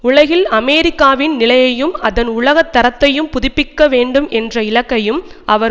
உலகில் அமெரிக்காவின் நிலையையும் அதன் உலக தரத்தையும் புதுப்பிக்க வேண்டும் என்ற இலக்கையும் அவர்